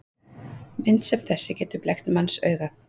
Mynd sem þessi getur blekkt mannsaugað.